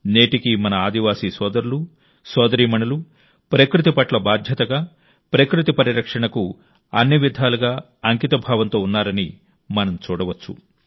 నేటికీ మన ఆదివాసీ సోదరులు సోదరీమణులు ప్రకృతి పట్ల బాధ్యతగా ప్రకృతి పరిరక్షణకు అన్ని విధాలుగా అంకితభావంతో ఉన్నారని మనం చూడవచ్చు